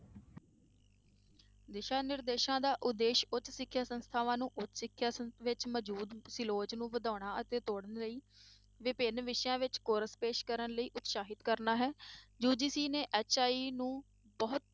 ਦਿਸ਼ਾ ਨਿਰਦੇਸ਼ਾਂ ਦਾ ਉਦੇਸ਼ ਉੱਚ ਸਿੱਖਿਆ ਸੰਸਥਾਵਾਂ ਨੂੰ ਵਿੱਚ ਮੌਜੂਦ ਤੇ ਲੋਚ ਨੂੰ ਵਧਾਉਣ ਅਤੇ ਤੋੜਨ ਲਈ ਵਿਭਿੰਨ ਵਿਸ਼ਿਆਂ ਵਿੱਚ course ਪੇਸ਼ ਕਰਨ ਲਈ ਉਤਸਾਹਿਤ ਕਰਨਾ ਹੈ UGC ਨੇ HI ਨੂੰ ਬਹੁ